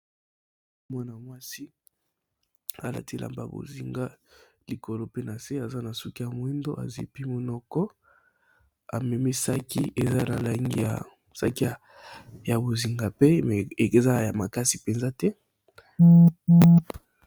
Mwana masi Alati elamba ya likolo Eza na kangi ya bozenga base pee Alati Elaine ya kangi ya bozenga pee